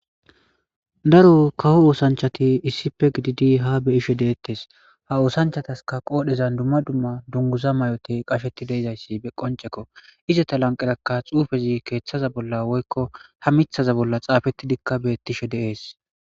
Daro kawO oosanchati isippe gididi ha beyishe Detes ha osanchayaska Qodhezan duma duma Dunguza mayoti Qasheti de'izayti Qoncceko izeta lanqera Xufezi Kethaza Bolla Woyko ha mithaza Bolla Xafetidika betishe de'es